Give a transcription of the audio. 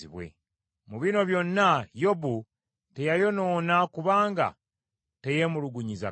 Mu bino byonna Yobu teyayonoona kubanga teyeemulugunyiza Katonda.